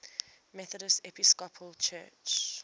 methodist episcopal church